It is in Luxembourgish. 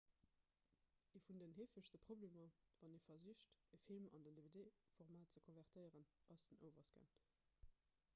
ee vun den heefegste problemer wann ee versicht e film an den dvd-format ze konvertéieren ass den overscan